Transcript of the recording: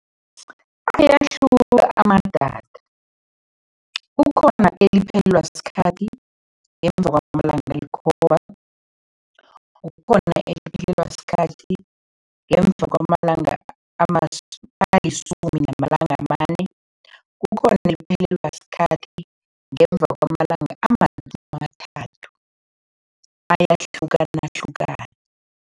Ayahluka amadatha. Kukhona eliphelelwa sikhathi ngemva kwamalanga alikhomba, kukhona eliphelelwa sikhathi ngemva kwamalanga alisumi namalanga amane, kukhona eliphelelwa sikhathi ngemva kwamalanga amasumi amathathu, ayahlukanahlukana.